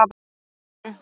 Hvað meinaru